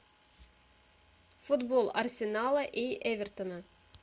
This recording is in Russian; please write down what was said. футбол арсенала и эвертона